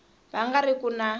va nga ri ku na